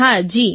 હા જી